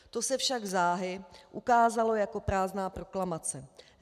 To se však záhy ukázalo jako prázdná proklamace.